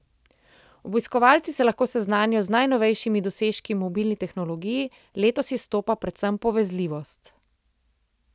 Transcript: Obiskovalci se lahko seznanijo z najnovejšimi dosežki v mobilni tehnologiji, letos izstopa predvsem povezljivost.